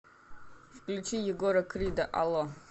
включи егора крида алло